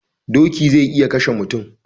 Doki zai iya kashe mutum